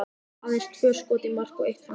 Aðeins tvö skot í mark og eitt framhjá.